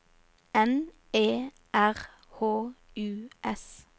N E R H U S